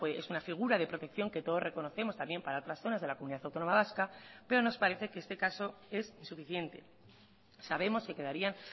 es una figura de protección que todos reconocemos también para otras zonas de la comunidad autónoma vasca pero nos parece que este caso es insuficiente sabemos que quedarían